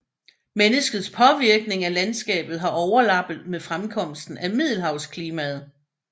Menneskets påvirkning af landskabet har overlappet med fremkomsten af middelhavsklimaet